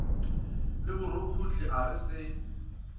le borukhuhli a re se